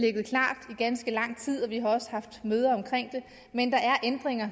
ganske lang tid vi har også haft møder omkring det men de ændringer